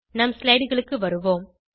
நம் slideகளுக்கு வருவோம்